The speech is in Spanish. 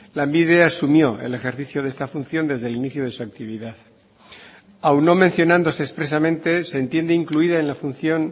lanbide asumió el ejercicio de esta función desde el inicio de su actividad aun no mencionándose expresamente se entiende incluida en la función